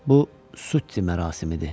Bu sutti mərasimidir.